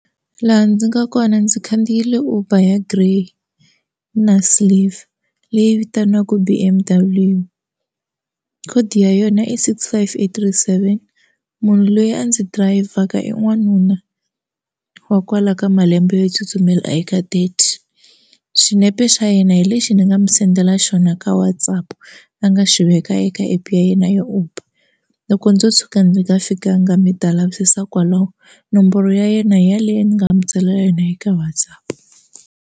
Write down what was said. Laha ndzi nga kona ndzi khandziyile Uber grey na silver leyi vitaniwaka B_M_W code ya yona i six five eight three seven munhu loyi a ndzi dirayivhaka i n'wanuna wa kwala ka malembe yo tsutsumela eka thirty xinepe xa yena hi lexi ni nga mi sendela xona ka WhatsApp a nga xi veka eka app ya yena ya Uber loko ndzo tshuka ndzi nga fikanga mi ta lavisisa kwalaho nomboro ya yena hi yaleyo ni nga mu tsalela yona hi ka WhatsApp.